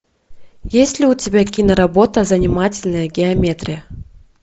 есть ли у тебя киноработа занимательная геометрия